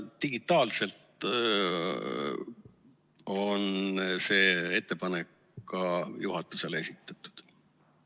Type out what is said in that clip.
Digitaalselt on see ettepanek ka juhatusele esitatud.